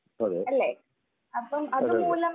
അതെ. അതെ, അതെ.